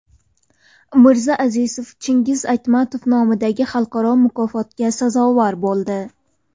Mirza Azizov Chingiz Aytmatov nomidagi xalqaro mukofotga sazovor bo‘ldi.